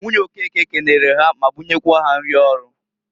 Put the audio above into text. Nwunye Okeke kenere ha ma bunyekwa ha nrị ọrụ.